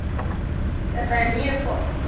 Þetta er mjög gott.